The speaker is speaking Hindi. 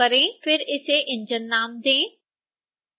फिर इसे engine नाम दें